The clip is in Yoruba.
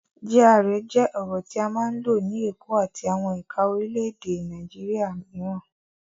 GRA jẹ́ ọ̀rọ̀ tí a máa ń lò ní Èkó àti àwọn ẹ̀ka orílẹ̀-èdè Nàìjíríà mìíràn.